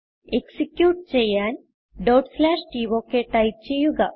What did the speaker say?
execute ചെയ്യാൻ tok type ചെയ്യുക